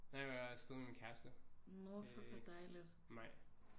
Nej jeg var afsted med min kæreste øh Maj